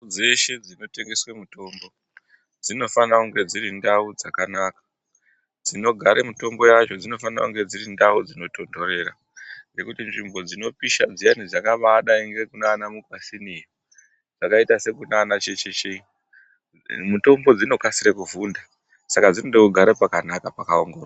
Dzese dzinotengeswa mitombo dzinofanira dziri ndau dzakanaka , dzinogare mitombo yacho dzinofanira kunge dziri ndau dzinotondorera ngekuti nzvimbo dzinopisha dziyani dzakabadai nekunana Mukwasini dzakaita sekuna Checheche mitombo dzinokasike kuvhunda saka dzinoda kugara pakanaka pakaongororwa.